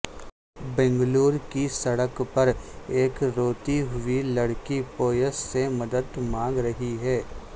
بنگلور کی سڑک پر ایک روتی ہوئی لڑکی پویس سے مدد مانگ رہی ہے